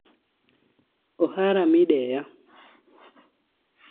Ohara Mideya